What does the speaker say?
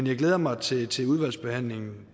jeg glæder mig til til udvalgsbehandlingen